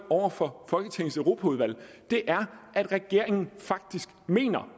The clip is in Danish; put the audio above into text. over for folketingets europaudvalg er at regeringen faktisk mener